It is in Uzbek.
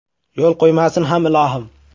Yo‘l qo‘ymasin ham ilohim.